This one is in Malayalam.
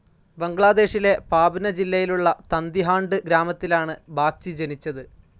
ബംഗ്ലാദേശിലെ പാബ്ന ജില്ലയിലുള്ള തന്തിഹാണ്ട് ഗ്രാമത്തിലാണ് ബാഗ്ചി ജനിച്ചത്.